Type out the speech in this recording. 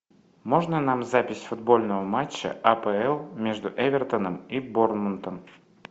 можно нам запись футбольного матча апл между эвертоном и борнмутом